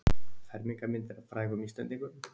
Fermingarmyndir af frægum Íslendingum